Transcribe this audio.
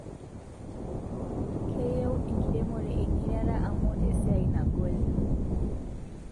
Keyieu enkiremore engiriata amuu esiai nagol